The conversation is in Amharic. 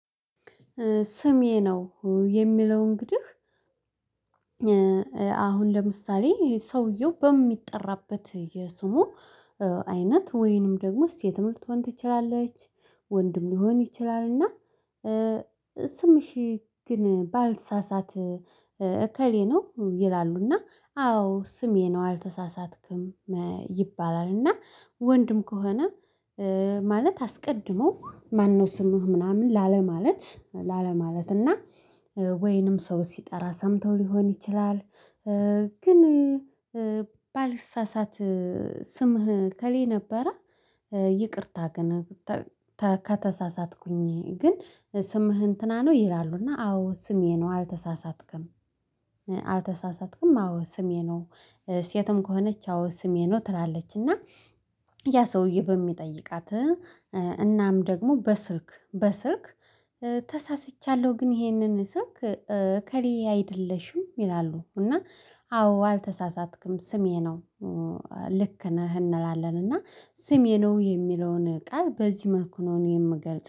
ስሜ ነው የሚለው እንግዲህ አሁን ለምሳሌ ሰውየው በሚጠራበት የስሙ አይነት ወይንም ደግሞ ሴትም ልትሆን ትችላለች ወንድም ሊሆን ይችላል። እና ስምሽ ግን ባልሳሳት እከሌ ነው። ይላሉና አዎ ስሜ ነው አልተሳሳትክም። ይባላልና ወንድም ከሆነ ማለት አስቀድሞ ማነው? ስምህ ምናምን ላለማለት ላለማለት እና ወይንም ሰው ሲጠራ ሰምተው ሊሆን ይችላል። ግን ባልሳሳት ስምህ እከሌ ነበረ። ይቅርታ ግን ከተሳሳትኩኝ ግን ስምህን እንትና ነው? ይላሉ እና አዎ ስሜ ነው አልተሳሳትክም። አልተሳሳትክም አዎ ስሜ ነው ሴትም ከሆነች አዎ ስሜ ነው ትላለች። እና ያ ሰውዬ በሚጠይቃት እናም ደግሞ በስልክ በስልክ ተሳስቻለሁ ግን ይሄንን ስልክ እከሌ አይደለሽም ይላሉ እና አዎ አልተሳሳትክም ስሜ ነው። ልክ ነህ እንላለን እና ስሜ ነው የሚለውን ቃል በዚህ መልኩ ነው የምገልፅ